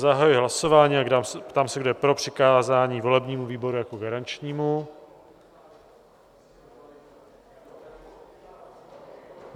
Zahajuji hlasování a ptám se, kdo je pro přikázání volebnímu výboru jako garančnímu.